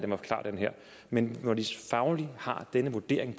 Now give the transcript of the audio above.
men når de faglige har denne vurdering